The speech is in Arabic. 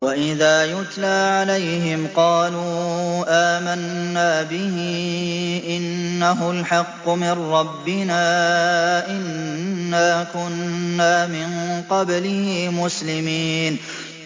وَإِذَا يُتْلَىٰ عَلَيْهِمْ قَالُوا آمَنَّا بِهِ إِنَّهُ الْحَقُّ مِن رَّبِّنَا إِنَّا كُنَّا مِن قَبْلِهِ مُسْلِمِينَ